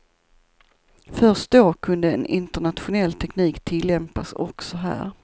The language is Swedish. Först då kunde en internationell teknik tillämpas också här.